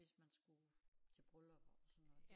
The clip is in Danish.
Hvis man skulle til bryllupper og sådan noget